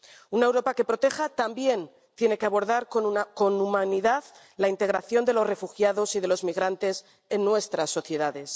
Una Europa que proteja también tiene que abordar con humanidad la integración de los refugiados y de los migrantes en nuestras sociedades.